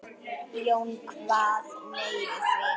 Jón kvað nei við því.